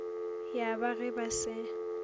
ya ba ge ba se